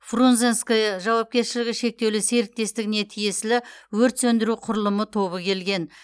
фрунзенское жауапкершілігі шектеулі серіктестігі тиесілі өрт сөндіру құрылымы тобы келген